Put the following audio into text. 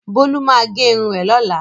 Bolu ma ge irun rẹ lola.